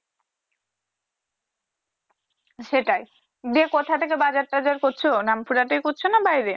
সেটাই বিয়ের কোথায় থেকে বাজার টাজার করছো না পুরাটাই করছো বাইরে